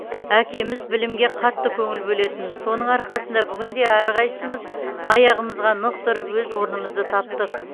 әкеміз білімге қатты көңіл бөлетін соның арқасында бүгінде әрқайсымыз аяғымызға нық тұрып өз орнымызды таптық